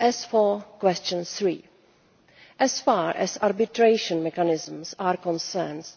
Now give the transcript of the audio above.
On question number three as far as arbitration mechanisms are concerned,